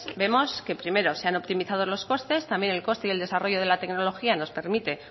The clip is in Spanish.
vemos que primero se han optimizado los costes también el coste y desarrollo de la tecnología nos permite